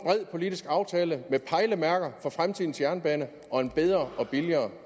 politisk aftale med pejlemærker for fremtidens jernbane og en bedre og billigere